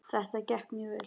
Þetta gekk mjög vel.